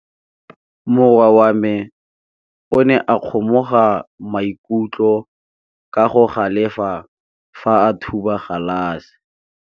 Morwa wa me o ne a kgomoga maikutlo ka go galefa fa a thuba galase.